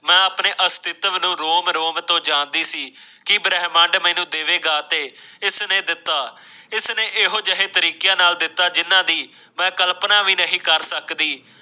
ਮੈਂ ਆਪਣੇ ਅਸਤਿੱਤਵ ਨੂੰ ਰੋਮ ਰੋਮ ਤੋਂ ਜਾਣਦੀ ਸੀ ਕਿ ਬ੍ਰਹਿਮੰਡ ਮੈਨੂੰ ਦੇਵੇਗਾ ਅਤੇ ਇਸ ਨੇ ਦਿੱਤਾ। ਇਸ ਨੇ ਇਹੋ ਜਿਹੇ ਤਰੀਕਿਆਂ ਨਾਲ ਦਿੱਤਾ ਜਿਨਾਂ ਦੇ ਮੈਂ ਕਲਪਨਾ ਵੀ ਨਹੀਂ ਕਰ ਸਕਦੀ।